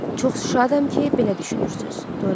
Çox şadam ki, belə düşünürsüz, Dorian.